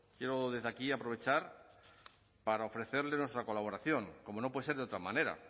desde aquí aprovechar para ofrecerles nuestra colaboración como no puede ser de otra manera